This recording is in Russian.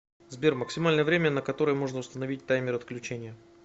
сбер максимальное время на которое можно установить таймер отключения